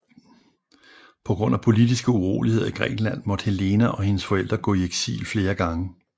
På grund af politiske uroligheder i Grækenland måtte Helena og hendes forældre gå i eksil flere gange